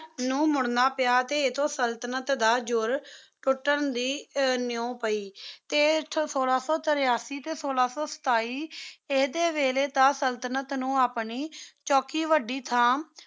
ਨੂ ਮੁਰਨਾ ਪਾਯਾ ਟੀ ਇਤੁ ਸੁਲ੍ਤ੍ਨਤ ਦਾ ਜੋਰ ਤੂਤਾਂ ਦੇ ਨਿਯੋ ਪਾਯੀ ਟੀ ਸੋਲਾ ਸੋ ਤਿਰਾਸੀ ਟੀ ਸੋਲਾ ਸੋ ਸਤਾਈ ਈਦੀ ਵੇਲੀ ਦਾ ਸੁਲ੍ਤ੍ਨਤ ਨੂ ਆਪਣੀ ਚੋਕੀ ਵਾਦੀ ਥਾਮ